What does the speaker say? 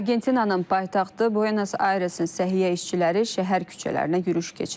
Argentinanın paytaxtı Buenos Ayresin səhiyyə işçiləri şəhər küçələrinə yürüş keçiriblər.